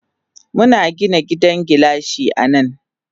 Muna Gina gidan gilashi anan.